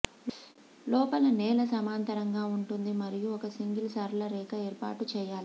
లోపల నేల సమాంతరంగా ఉంటుంది మరియు ఒక సింగిల్ సరళ రేఖ ఏర్పాటు చేయాలి